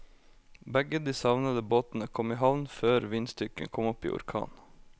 Begge de savnede båtene kom i havn før vindstyrken kom opp i orkan.